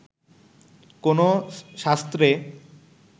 কোনো শাস্ত্রে